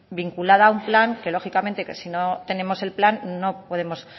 vinculada a un plan que lógicamente que si no tenemos el plan no podemos